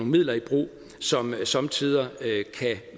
midler i brug som somme tider kan